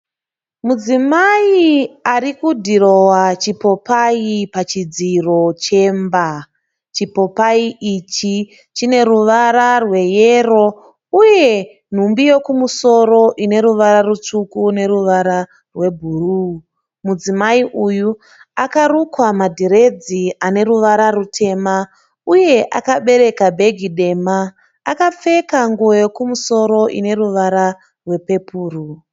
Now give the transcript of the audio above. Mudzimai arikudhirowa chipopayi pachidziro chemba. Chipopayi ichi chine ruvara rweyero uye nhumbi yekumusoro ineruvara rutsvuku neruvara rwebhuruu . Mudzimai uyu akarukwa madhiredzi anwruvara rutema uye akabereka bhegi dema uye akapfeka nguwo yekumusoro ineruvara rwepepuro .